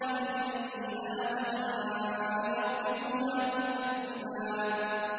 فَبِأَيِّ آلَاءِ رَبِّكُمَا تُكَذِّبَانِ